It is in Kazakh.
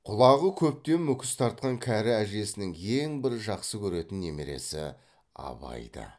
құлағы көптен мүкіс тартқан кәрі әжесінің ең бір жақсы көретін немересі абай ды